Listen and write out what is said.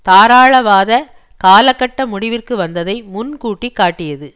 தாராளவாத காலகட்டம் முடிவிற்கு வந்ததை முன்கூட்டிகாட்டியது